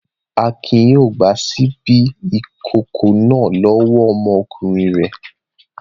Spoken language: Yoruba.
Akin yóò gba ṣíbí ìkókó náà lọ́wọ́ ọmọkùnrin rẹ̀.